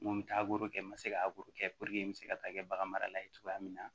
N ko n bɛ taa kɛ n ma se ka kɛ n bɛ se ka taa kɛ bagan marala ye cogoya min na